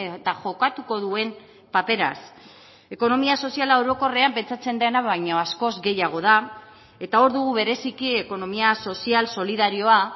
eta jokatuko duen paperaz ekonomia soziala orokorrean pentsatzen dena baino askoz gehiago da eta hor du bereziki ekonomia sozial solidarioa